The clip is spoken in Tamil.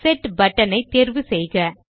செட் பட்டன் ஐ தேர்வு செய்யவும்